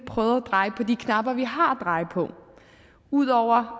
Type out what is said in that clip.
prøvede at dreje på de knapper vi har at dreje på ud over